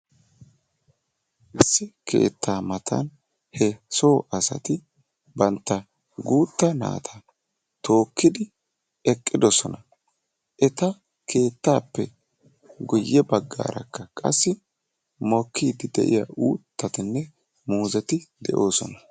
Issi keetta matan he so asatti bantta guutta naatta tookkidi eqqidosonna, etta keettappe guye baggarakka qassi mokkidi de'iyaa uuttatinne muuzetti de'ossona.